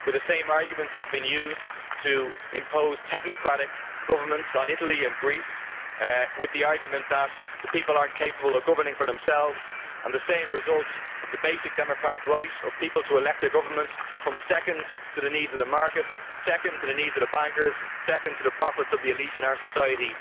The same arguments have been used to impose technocratic governance on Italy and Greece, with the argument that the people are not capable of governing for themselves, with the same result that the basic democratic right of people to elect their government comes second to the needs of the market, second to the needs of the bankers, second to the profits of the elite in our society.